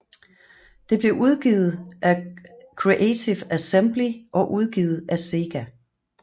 Det blev udviklet af Creative Assembly og udgivet af SEGA